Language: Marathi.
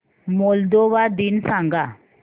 मोल्दोवा दिन सांगा